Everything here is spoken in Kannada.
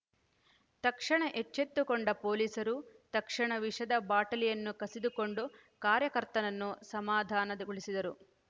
ತಕ್ಷಣ ಎಚ್ಚೆತ್ತುಕೊಂಡ ಪೊಲೀಸರು ತಕ್ಷಣ ವಿಷದ ಬಾಟಲಿಯನ್ನು ಕಸಿದುಕೊಂಡು ಕಾರ್ಯಕರ್ತನನ್ನು ಸಮಾಧಾನದಗೊಳಿಸಿದರು